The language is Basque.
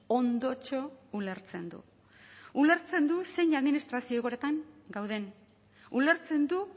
ondotxo ulertzen du ulertzen du zein administrazio egoeretan gauden ulertzen du